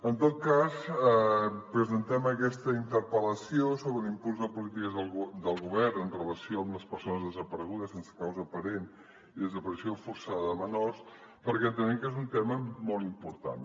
en tot cas presentem aquesta interpel·lació sobre l’impuls de les polítiques del govern amb relació a les persones desaparegudes sense causa aparent i la desaparició forçada de menors perquè entenem que és un tema molt important